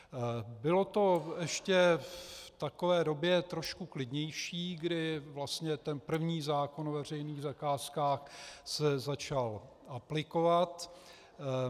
Bylo to ještě v takové době trošku klidnější, kdy vlastně ten první zákon o veřejných zakázkách se začal aplikovat.